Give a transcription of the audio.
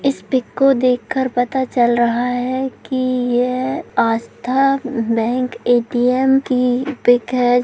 इस पिक को देखकर पता चल रहा है की यह आस्था बैंक ए.टी.एम की पिक --